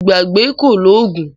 Ìgbàgbé kò lóògùn